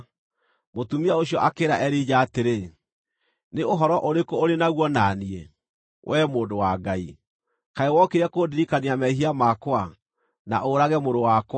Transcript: Mũtumia ũcio akĩĩra Elija atĩrĩ, “Nĩ ũhoro ũrĩkũ ũrĩ naguo na niĩ, wee mũndũ wa Ngai? Kaĩ wokire kũndirikania mehia makwa, na ũũrage mũrũ wakwa?”